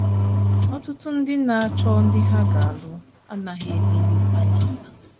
Ọtụtụ ndị na - achọ ndị ha ga - alụ anaghị eleru anya ala.